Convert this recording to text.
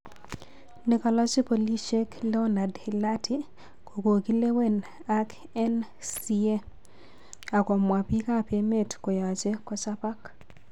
Nekalachi polishek leonard Hlathi kokokilewen ak eNCA akomwa,"pik ap emet koyache kochapak .